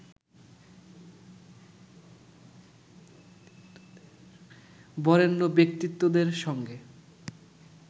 বরেণ্য ব্যক্তিত্বদের সঙ্গে